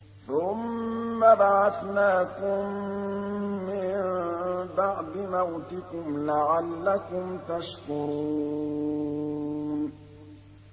ثُمَّ بَعَثْنَاكُم مِّن بَعْدِ مَوْتِكُمْ لَعَلَّكُمْ تَشْكُرُونَ